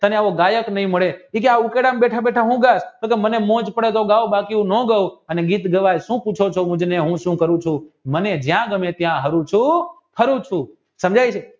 તને એવો ગાયક નહિ મળે એ કી આ ઉકરડામાં બેઠા બેઠા તે કી મને મોજ પડે તો ગાવ બાકી નો ગૌ અને ગીત ગવાય અને સુ પૂછે છે કે હું સુ કરું કથૂ મને જ્યાં ગમે ત્યાં હારું ચુ